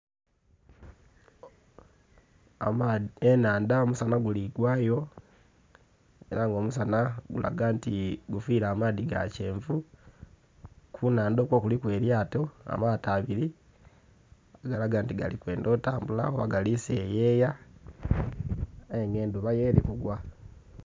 Ennhandha. Omusanha guli gwa yo ela nga omusanha gulaga nti gufiile amaadhi ga kyenvu. Ku nnhandha okwo kuliku elyato, amaato abili agalaga nti gali kwendha otambula oba gali seyeya, aye nga endhuba yo eli kugwa.